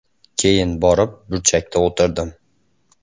Keyin borib burchakda o‘tirdim.